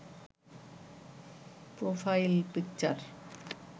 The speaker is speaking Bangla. profile picture